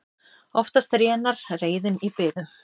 Oftast rénar reiðin í biðum.